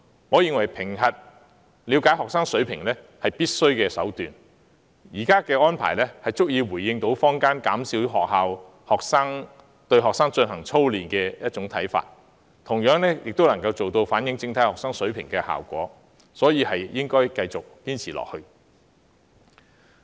我認為以評核來了解學生水平是必須的，現時的安排足以回應坊間減少學校對學生操練的看法，同樣亦能反映整體學生的學習水平，所以應該繼續堅持下去。